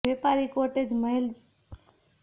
વેપારી કોટેજ મહેલ ઇમારતો સ્વરૂપમાં રજૂ કરવામાં આવે છે